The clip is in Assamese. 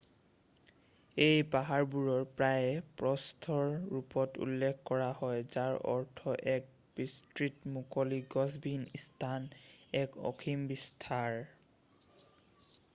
"এই পাহাৰবোৰৰ প্ৰায়েই "প্ৰস্থ" ৰ ৰূপত উল্লেখ কৰা হয় যাৰ অৰ্থ এক বিস্তৃত মুকলি গছবিহীন স্থান এক অসীম বিস্তাৰ ।""